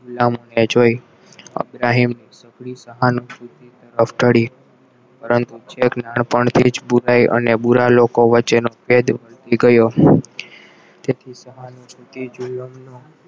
ગુલામોને જોઈન અબ્રાહિમ નાનપણથી જ બોલાય ને બુરાઈ અને બુરા લોકો વચ્ચે નો ભેદ ગયો તે સહાનુભૂતિ જુલમનો